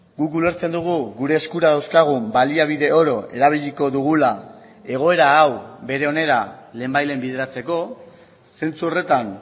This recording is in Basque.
guk ulertzen dugu gure eskura dauzkagun baliabide oro erabiliko dugula egoera hau bere onera lehenbailehen bideratzeko zentzu horretan